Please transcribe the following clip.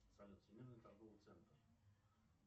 салют всемирный торговый центр